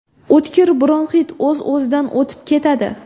O‘tkir bronxit o‘z-o‘zidan o‘tib ketadi.